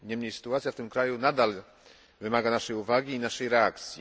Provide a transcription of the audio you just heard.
Niemniej sytuacja w tym kraju nadal wymaga naszej uwagi i naszej reakcji.